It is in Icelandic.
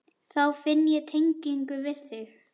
Þá finn ég tengingu við þig.